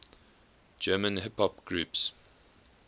german hip hop groups